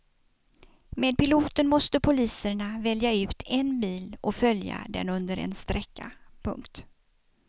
Med piloten måste poliserna välja ut en bil och följa den under en sträcka. punkt